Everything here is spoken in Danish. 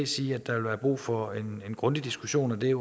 sige at der vil være brug for en grundig diskussion og det